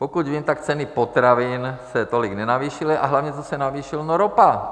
Pokud vím, tak ceny potravin se tolik nenavýšily, a hlavně, co se navýšilo - no ropa.